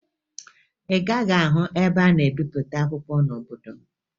Ị gaghị ahụ ebe a na-ebipụta akwụkwọ n'obodo m